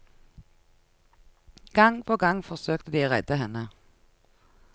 Gang på gang forsøkte de å redde henne.